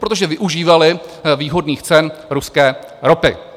Protože využívaly výhodných cen ruské ropy.